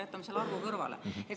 Jätame selle arvu kõrvale.